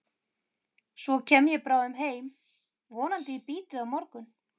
Svo kem ég bráðum heim, vonandi í bítið á morgun.